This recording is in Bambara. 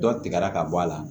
Dɔ tigɛra ka bɔ a la